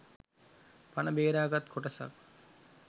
පණ බේරාගත් කොටසක්